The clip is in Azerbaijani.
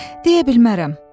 Deyə bilmərəm.